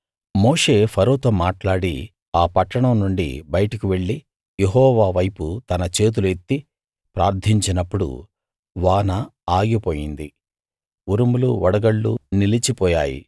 మోషే ఫరోతో మాట్లాడి ఆ పట్టణం నుండి బయటకు వెళ్లి యెహోవా వైపు తన చేతులు ఎత్తి ప్రార్థించినప్పుడు వాన ఆగిపోయింది ఉరుములు వడగళ్ళు నిలిచిపోయాయి